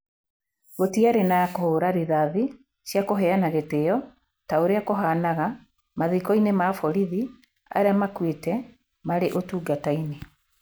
Gũtĩarĩ na kũhũũra rithathi cia kũheana gĩtĩo ta ũrĩa kũhaanaga mathiko-inĩ ma borithi arĩa makuĩte marĩ ũtungata-inĩ.